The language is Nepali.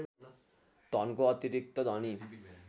धनको अतिरिक्त धनी